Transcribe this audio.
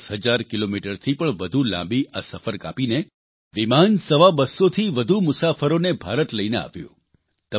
10 હજાર કિલોમીટરથી પણ વધુ લાંબી આ સફર કાપીને વિમાન સવા બસ્સોથી વધુ મુસાફરોને ભારત લઇને આવ્યું